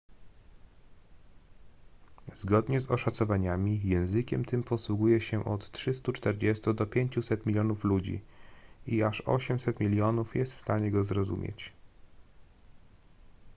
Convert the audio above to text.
zgodnie z oszacowaniami językiem tym posługuje się od 340 do 500 milionów ludzi i aż 800 milionów jest w stanie go zrozumieć